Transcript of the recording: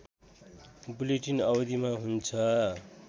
bulletin अवधिमा हुन्छ